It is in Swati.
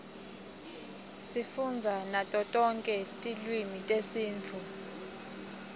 sifundza nato tonke tilwimi tesitifu